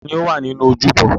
Ta ni ó wà nínú ojúbọ?